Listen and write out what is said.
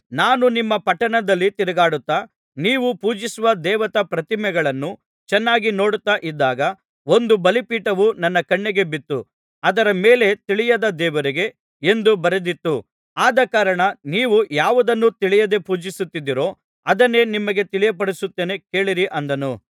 ನಾನು ನಿಮ್ಮ ಪಟ್ಟಣದಲ್ಲಿ ತಿರುಗಾಡುತ್ತಾ ನೀವು ಪೂಜಿಸುವ ದೇವತಾ ಪ್ರತಿಮೆಗಳನ್ನು ಚೆನ್ನಾಗಿ ನೋಡುತ್ತಾ ಇದ್ದಾಗ ಒಂದು ಬಲಿಪೀಠವು ನನ್ನ ಕಣ್ಣಿಗೆ ಬಿತ್ತು ಅದರ ಮೇಲೆ ತಿಳಿಯದ ದೇವರಿಗೆ ಎಂದು ಬರೆದಿತ್ತು ಆದಕಾರಣ ನೀವು ಯಾವುದನ್ನು ತಿಳಿಯದೆ ಪೂಜಿಸುತ್ತಿದ್ದೀರೋ ಅದನ್ನೇ ನಿಮಗೆ ತಿಳಿಯಪಡಿಸುತ್ತೇನೆ ಕೇಳಿರಿ ಅಂದನು